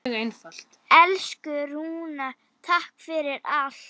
Elsku Rúna, takk fyrir allt.